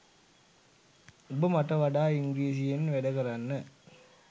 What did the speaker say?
උඹ මට වඩා ඉංග්‍රීසියෙන් වැඩ කරන්න